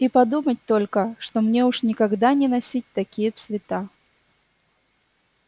и подумать только что мне уж никогда не носить такие цвета